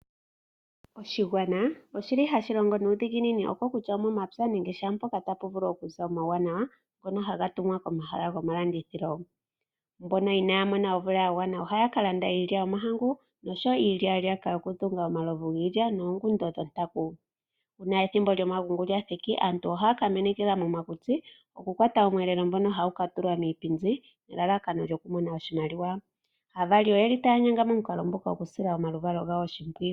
Oshigwana oshili hashi longo nuudhiginini oko kutya omomapya nenge shaampoka tapu vulu okuza omauwanawa ngoka haga tumwa komahala gomalandithilo. Mboka inaaya mona omvula ya gwana ohaya kalanda iilya yomahangu noshowoo iilyaalyaka yokudhunga omalovu giilya noongundo dhontaku. Uuna ethimbo lyomagungu lyathika aantu ohaya kamenekela momakuti okukwata omweelelo hagu katulwa miipindi elalakano okumona iimalowa. Aavali oyeli taya nyanga momukalo nguka opo yasile omaluvalo gawo oshimpwiyu.